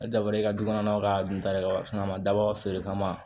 Ne dabɔra i ka dukɔnɔnaw ka dun ta de kama a ma dabɔ a feere kama